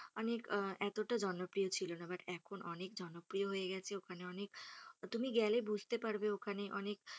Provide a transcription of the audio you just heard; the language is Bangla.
মানে এতোটা জনপ্রিয় ছিল না but এখন অনেক জনপ্রিয় হয়ে গেছে ওখানে অনেক তুমি গেলেই বুঝতে পারবে ওখানে অনেক,